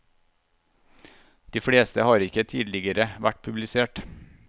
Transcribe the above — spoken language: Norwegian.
De fleste har ikke tidligere vært publisert.